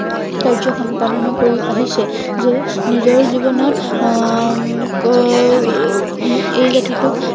কাৰ্য সম্পাদন কৰি আহিছে, যদি নিজৰ জীৱনত আহ উম এৰ এই জাতিটোক